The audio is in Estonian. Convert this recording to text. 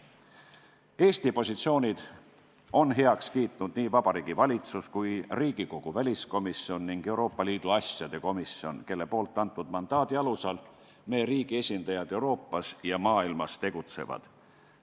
Eesti positsioonid on heaks kiitnud nii Vabariigi Valitsus kui ka Riigikogu väliskomisjon ning Euroopa Liidu asjade komisjon, kelle antud mandaadi alusel meie riigi esindajad Euroopas ja maailmas tegutsevad.